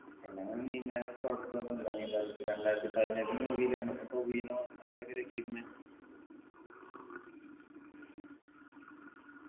പ്രളയം നീന്താന് കൊഴപ്പോന്നുല്ല നീന്താ വെച്ച് രണ്ടായിരത്തി പതിനെട്ട് movie ലാണ് ഇപ്പൊ ടോവിനോ അവരൊക്കെ രക്ഷിക്കുന്നെ